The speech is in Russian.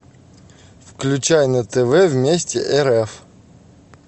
включай на тв вместе рф